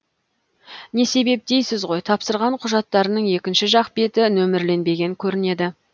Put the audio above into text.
не себеп дейсіз ғой тапсырған құжаттарының екінші жақ беті нөмірленбеген көрінеді